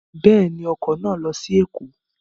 Bẹ́ẹ̀ni, ọkọ̀ náà lọ sí Ẹ̀kọ́